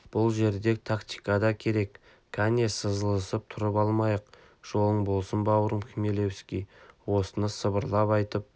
бұл жерде тактика да керек кәне сызылысып тұрып алмайық жолың болсын бауырым хмелевский осыны сыбырлап айтып